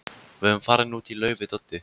Við erum farin út í laug við Doddi.